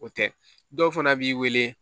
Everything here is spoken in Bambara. O tɛ dɔw fana b'i wele